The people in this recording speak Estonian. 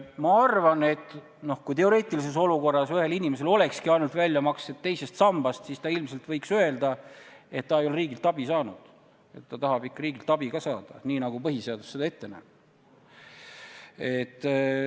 Ma arvan, et teoreetilises olukorras, kus inimesele tehtakski väljamakseid ainult teisest sambast, võiks ta ilmselt öelda, et ta ei ole riigilt abi saanud ja et ta tahab ikka riigilt abi ka saada, nii nagu põhiseadus ette näeb.